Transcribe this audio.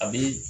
A bɛ